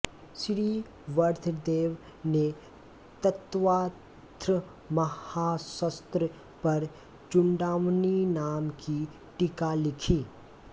श्री वर्धदेव ने तत्वार्थमहाशास्त्र पर चूडामणि नाम की टीका लिखी